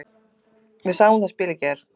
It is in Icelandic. Við sáum það spil í gær.